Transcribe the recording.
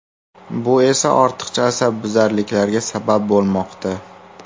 Bu esa, ortiqcha asabbuzarliklarga sabab bo‘lmoqda.